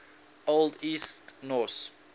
old east norse